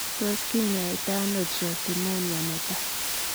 Tos kinyaitaa anoo trosinemia netai?